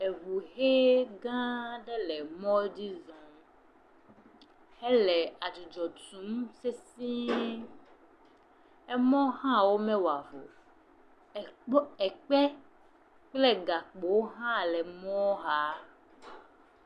eʋu hɛ gã ɖe le mɔdzi zɔm éle adzudzɔ tum sesiē emɔ hã womɛ wɔavɔ o ekpe kple gakpowo hã le mɔ xa